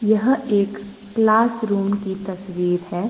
यह एक classroom की तस्वीर है।